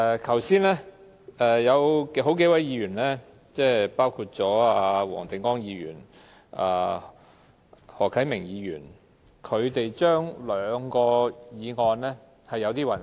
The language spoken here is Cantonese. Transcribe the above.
剛才有數位議員，包括黃定光議員和何啟明議員對兩項法案有點混淆。